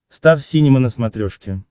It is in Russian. стар синема на смотрешке